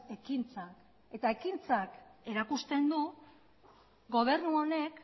ekintzak eta ekintzak erakusten du gobernu honek